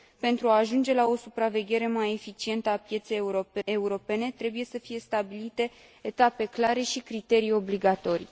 Pentru a ajunge la o supraveghere mai eficientă a pieței europene, trebuie să fie stabilite etape clare și criterii obligatorii.